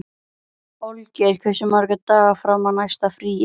Olgeir, hversu margir dagar fram að næsta fríi?